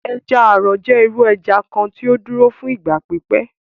Ẹja-àrò jẹ iru ẹja kan tí ó dúro fún ìgbà pípẹ.